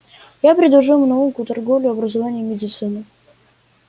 я предложил им науку торговлю образование и медицину